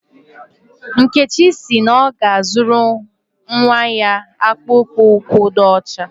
Nkechi si na ọ ga-azụrụ nnwa ya akpụkpọ ụkwụ ọcha